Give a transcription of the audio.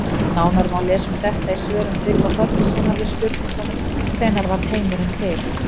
Nánar má lesa um þetta í svörum Tryggva Þorgeirssonar við spurningunum Hvenær varð heimurinn til?